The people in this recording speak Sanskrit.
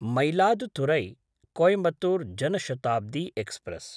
मयिलादुथुरै–कोयिमत्तूर् जन शताब्दी एक्स्प्रेस्